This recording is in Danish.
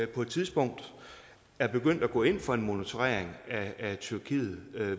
på et tidspunkt er begyndt at gå ind for en monitorering af tyrkiet